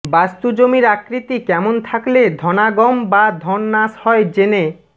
বাস্তু জমির আকৃতি কেমন থাকলে ধনাগম বা ধননাশ হয় জেনে